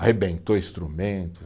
Arrebentou instrumento.